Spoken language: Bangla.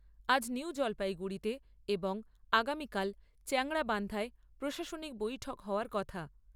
আজ নিউ জলপাইগুড়িতে এবং আগামীকাল চ্যাংড়াবান্ধায় প্রশাসনিক বৈঠক হওয়ার কথা।